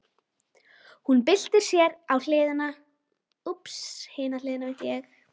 Hún byltir sér á hina hliðina.